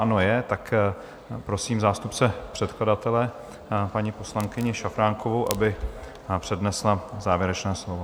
Ano, je, tak prosím zástupce předkladatele, paní poslankyni Šafránkovou, aby přednesla závěrečné slovo.